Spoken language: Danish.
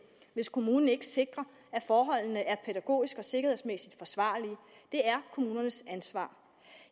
hvis kommunen ikke sikrer at forholdene er pædagogisk og sikkerhedsmæssigt forsvarlige det er kommunernes ansvar